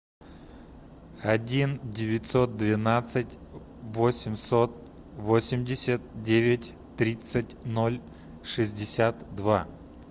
один девятьсот двенадцать восемьсот восемьдесят девять тридцать ноль шестьдесят два